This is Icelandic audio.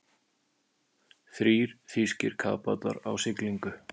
Þrír þýskir kafbátar á siglingu.